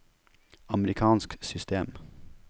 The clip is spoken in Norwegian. amerikansk system